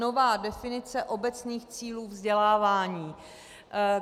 Nová definice obecných cílů vzdělávání.